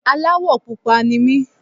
Aláwọ̀ pupa ni mí.